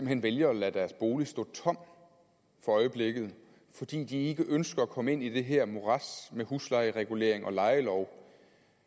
hen vælger at lade deres bolig stå tom for øjeblikket fordi de ikke ønsker at komme ind i det her morads med huslejeregulering og lejelov